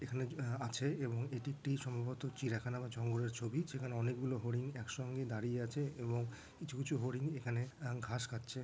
এখানে জো আ-আছে এবং এটি একটি সম্ভবত চিড়িয়াখানা বা জঙ্গলের ছবি যেখানে অনেকগুলো হরিণ একসঙ্গে দাঁড়িয়ে আছে এবং কিছু কিছু হরিণ এখানে আ ঘাস খাচ্ছে।